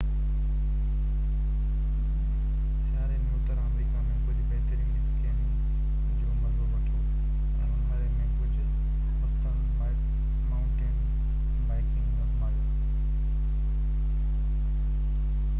سياري ۾ اتر آمريڪا ۾ ڪجهه بهترين اسڪيئنگ جو مزو وٺو ۽ اونهاري ۾ ڪجھ مستند مائونٽين بائيڪنگ آزمايو